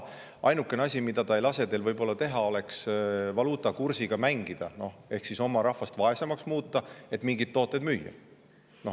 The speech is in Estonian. Ainuke asi, mida see ei lase võib-olla teha, oleks mängida valuutakursiga ehk muuta oma rahvast vaesemaks, et mingeid tooteid müüa.